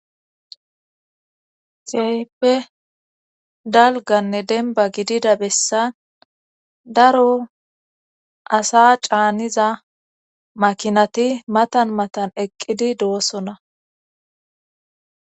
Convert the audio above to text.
xeype dalganne denba gidida bessan daro asa caaniza makinati matan matan eqqidi doosona